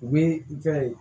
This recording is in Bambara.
U bɛ i fɛ yen